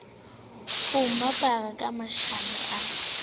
ho mphara ka mashano a